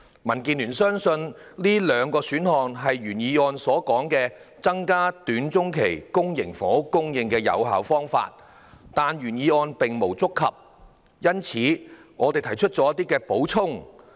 民建聯相信這兩個選項是原議案提述的"增加短中期房屋供應"的有效方法，但原議案並無觸及這兩個選項，因此，我們提出了一些補充。